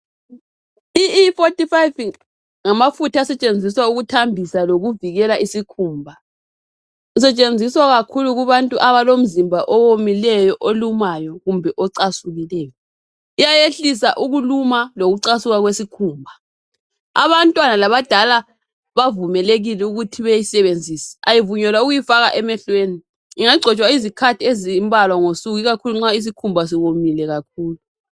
I-E45 ngamafutha asetshenziswa ukuthambisa lokuvikela isikhumba. Isetshenziswa kakhulu kubantu abalomzimba owomileyo , olumayo kumbe ocasukileyo. lyayehlisa ukuluma lokucasuka kwesikhumba. Abantwana labadala bavumelekile ukuthi beyisebenzise. Kayivunyelwa ukuyifaka emehlweni. Ingagcotshwa izikhathi ezimbalwa ngosuku. Ikakhulu nxa isikhumba somile kakhulu.